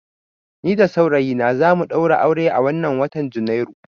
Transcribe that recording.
Ni da saurayina za mu ɗaura aure a wannan watan Janairu.